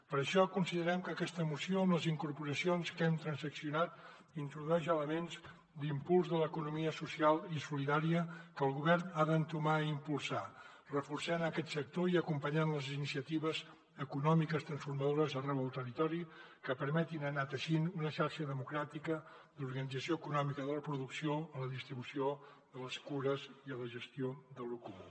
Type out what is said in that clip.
per això considerem que aquesta moció amb les incorporacions que hi hem transaccionat introdueix elements d’impuls de l’economia social i solidària que el govern ha d’entomar i impulsar reforçant aquest sector i acompanyant les iniciatives econòmiques transformadores arreu del territori que permetin anar teixint una xarxa democràtica d’organització econòmica de la producció la distribució de les cures i la gestió d’allò comú